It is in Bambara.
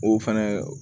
O fɛnɛ